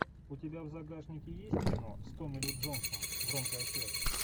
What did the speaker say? у тебя в загашнике есть кино с томми ли джонсом громкая связь